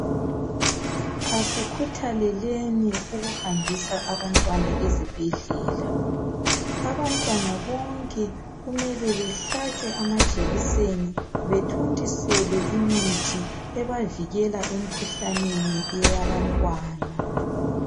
Asikhuthaleleni ukuhambisa abantwana ezibhedlela. Abantwana bonke kumele behlatshwe amajekiseni. Bathontiselwe imithi, ebavikela emikhuhlaneni eyabantwana.